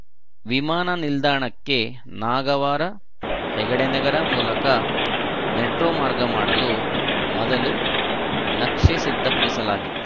ವಿಮಾನ ನಿಲ್ದಾಣಕ್ಕೆ ನಾಗವಾರ ಹೆಗಡೆ ನಗರ ಮೂಲಕ ಮೆಟ್ರೋ ಮಾರ್ಗ ಮಾಡಲು ಮೊದಲು ನಕ್ಷೆ ಸಿದ್ಧಪಡಿಸಲಾಗಿತ್ತು